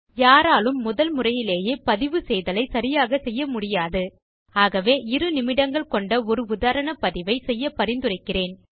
யாராலும் முதல்முறையிலேயே பதிவு செய்தலை சரியாகச் செய்ய முடியாது ஆகவே இரு நிமிடங்கள் கொண்ட ஒரு உதாரணப் பதிவை செய்ய பரிந்துரைக்கிறேன்